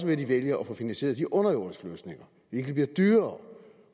vælger at få finansieret de underjordiske løsninger hvilket bliver dyrere